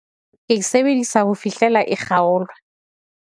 Ke e sebedisa ho fihlela e kgaolwa.